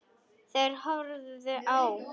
Þeir horfðu á.